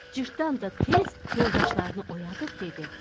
Cırtdan da tez yoldaşlarını oyadıb dedi.